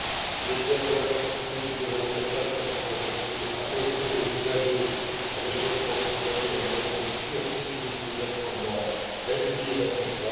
Il est clair que l'attractivité du ferroviaire passe par sa capacité à offrir aux usagers, à l'échelle transfrontalière, un service sûr, sécurisé, performant, régulier et simple d'accès.